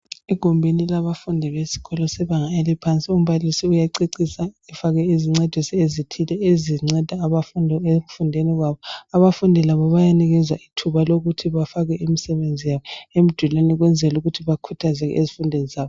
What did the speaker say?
Igumbini labafundi besikolo sebanga eliphansi, umbalisi uyacecisa , efaka izincwadi ezithile, ezinceda abafundi ekufundeni kwabo. Abafundi labo bayanikezwa ithuba lokuthi bafake imisebenzi yabo emidulini ukwenzela ukuthi bakhuthazeke ezifundweni zabo.